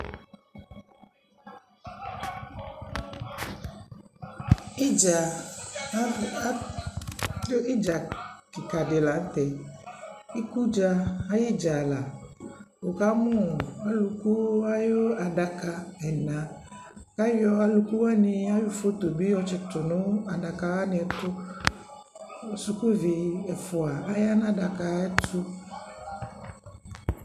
Idza adu idza kika dι la ntɛIku dza ayi dza laWuka mu aluku ayu adaka ɛnaAyɔ aluku wani ayu foto yɔ tsi tu nu adaka wani tuKu suku vi ɛfua aya nu adaka ayɛ tu